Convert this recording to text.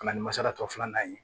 Ka na ni masalatɔ filanan ye